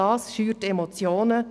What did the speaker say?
Das schürt Emotionen;